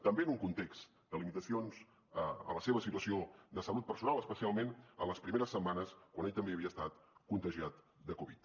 també en un context de limitacions en la seva situació de salut personal especialment en les primeres setmanes quan ell també havia estat contagiat de covid